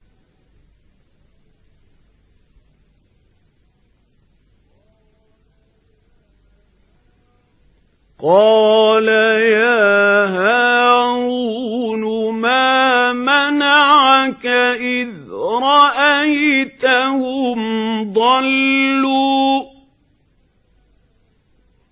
قَالَ يَا هَارُونُ مَا مَنَعَكَ إِذْ رَأَيْتَهُمْ ضَلُّوا